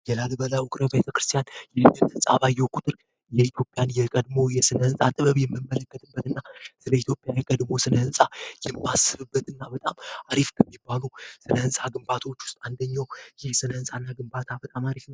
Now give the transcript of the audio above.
የላሊበላ ውቅር አብያተ ክርስቲያን ህንፃን ባየሁ ቁጥር የኢትዮጵያ የቀድሞ የስነህንፃ ጥበብ የምመለከትበት እና የኢትዮጵያ የቀድሞ የስነ ህንፃ የማስብበት እና በጣም አሪፍ ከሚባሉ ስነ ህንፃ ግንባታዎች ውስጥ አንደኛው ይህ ስነ ህንፃ ግንባታ ነው።